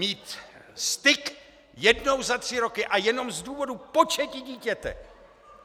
... mít styk jednou za tři roky a jenom z důvodu početí dítěte!